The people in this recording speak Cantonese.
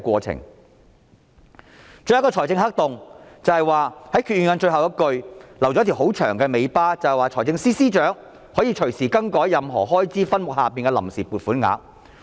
最後一個財政黑洞是決議案的最後一句留下一條很長的尾巴，讓財政司司長可以隨時更改任何開支分目下的臨時撥款額。